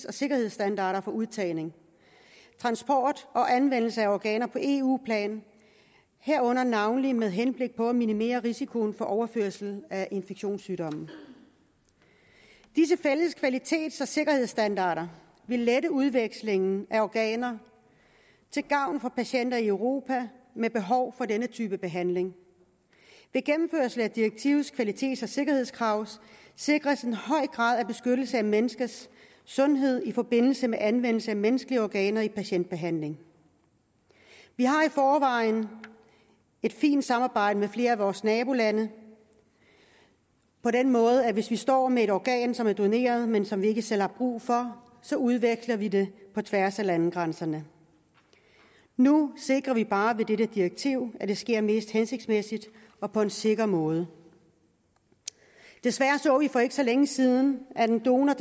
og sikkerhedsstandarder på udtagning transport og anvendelse af organer på eu plan herunder navnlig med henblik på at minimere risikoen for overførsel af infektionssygdomme disse fælles kvalitets og sikkerhedsstandarder vil lette udvekslingen af organer til gavn for patienter i europa med behov for denne type behandling ved gennemførelse af direktivets kvalitets og sikkerhedskrav sikres en høj grad af beskyttelse af menneskers sundhed i forbindelse med anvendelse af menneskelige organer i patientbehandlingen vi har i forvejen et fint samarbejde med flere af vores nabolande på den måde at hvis vi står med et organ som er doneret men som vi ikke selv har brug for så udveksler vi det på tværs af landegrænserne nu sikrer vi bare ved dette direktiv at det sker mest hensigtsmæssigt og på en sikker måde desværre så vi for ikke så længe siden at en donor